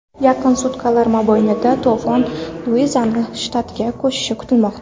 Yaqin sutkalar mobaynida to‘fon Luiziana shtatiga ko‘chishi kutilmoqda.